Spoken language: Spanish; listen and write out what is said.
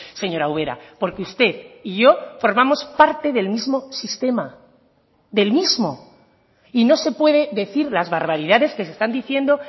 señora ubera porque usted y yo formamos parte del mismo sistema del mismo y no se puede decir las barbaridades que se están diciendo